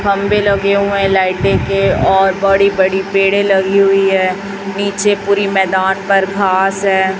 खंबे लगे हुए है लाईटे के और बड़ी-बड़ी पेड़े लगी हुई है निचे पुरी मैदान पर घास है।